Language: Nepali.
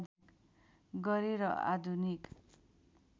गरे र आधुनिक